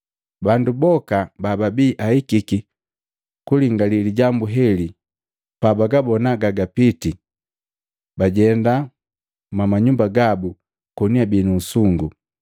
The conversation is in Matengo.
Bandu boka bababii ahikiki kulingali lijambu heli, pabagabona gagapiti, bajenda mwama nyumba gabu, koni abii nu usungu.